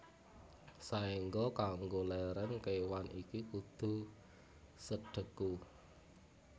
Saéngga kanggo lèrèn kéwan iki kudu sedheku